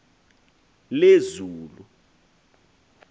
lezulu